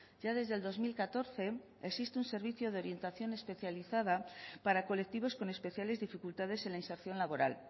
ya desde el dos mil catorce existe un servicio de orientación especializada para colectivos con especiales dificultades en la inserción laboral